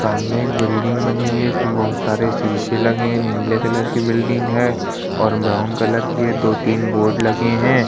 सामने एक बिल्डिंग बनी हुई है इसमें बहुत सारे शीशे लगे है नीले कलर की बिल्डिंग हैं और ब्राउन कलर की है दो-तीन बोर्ड लगे हैं ।